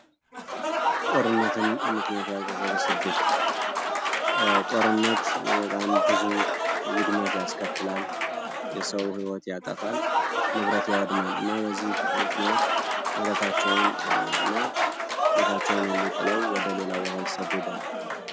ጦርነትን ምክንያት ያደረገ ስደት ጦርነት በጣም ብዙ ውድመት ያስከትላል። የሰው ሕይወት ያጠፋል ንብረት ያወድማሉ እና በዚህም ምክንያት ንብረታቸውን እና የቤታችኛው ሁሉ ጥለው ወደ ሌላ ቦታ ይሰደዳል።